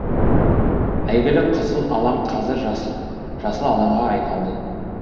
әйгілі қызыл алаң қазір жасыл алаңға айналды